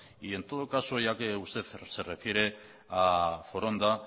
y en todo caso ya que usted se refiere a foronda